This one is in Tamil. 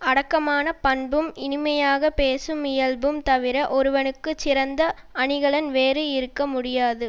அடக்கமான பண்பும் இனிமையாக பேசும் இயல்பும் தவிர ஒருவனுக்கு சிறந்த அணிகலன் வேறு இருக்க முடியாது